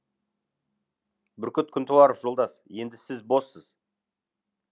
бүркіт күнтуаров жолдас енді сіз боссыз